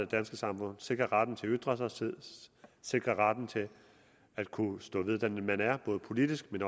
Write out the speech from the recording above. danske samfund sikrer retten til at ytre sig sikrer retten til at kunne stå ved den man er både politisk